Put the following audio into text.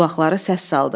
Qulaqları səs saldı.